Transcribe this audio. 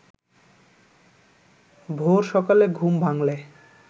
ভোর-সকালে ঘুম ভাঙ্গলে